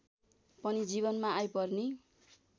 पनि जीवनमा आइपर्ने